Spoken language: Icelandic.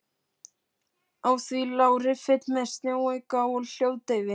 Á því lá riffill með sjónauka og hljóðdeyfi.